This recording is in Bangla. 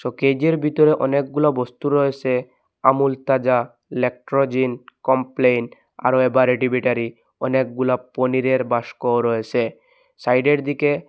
কেজের ভিতরে অনেকগুলো বস্তু রয়েসে আমুল তাজা ল্যাক্টোজেন কমপ্লেন আরও এভারেডি ব্যাটারি অনেকগুলা পনিরের বাক্সও রয়েসে সাইডের দিকে--